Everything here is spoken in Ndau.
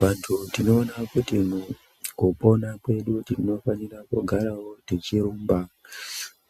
Vantu tinoona kuti kupona kwedu tinofanira kugarawo tichirumba ,